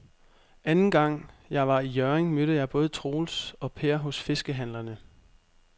Anden gang jeg var i Hjørring, mødte jeg både Troels og Per hos fiskehandlerne.